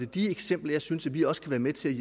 de eksempler jeg synes at vi også kan være med til